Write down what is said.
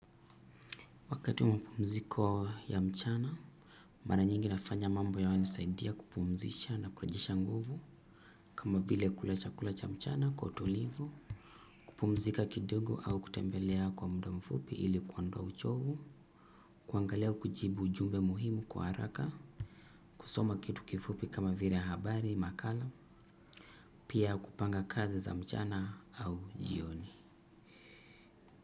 Wakati wamapumziko ya mchana, mara nyingi nafanya mambo ya nanisaidia kupumzisha na kurejesha nguvu. Kama vile kula chakula cha mchana kwa utulivu kupumzika kidogo au kutembelea kwa mda mfupi ili kuondoa uchovu. Kuangalia kujibu ujumbe muhimu kwa haraka. Kusoma kitu kifupi kama vile habari, makala. Pia kupanga kazi za mchana au jioni.